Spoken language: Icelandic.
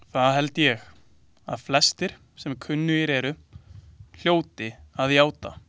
Það held ég, að flestir, sem kunnugir eru, hljóti að játa.